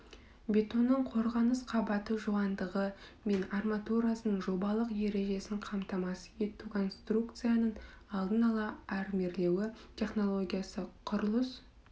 бетонның қорғаныс қабаты жуандығы мен арматурасының жобалық ережесін қамтамасыз ету конструкцияның алдын ала армирлеуі технологиясы құрылыс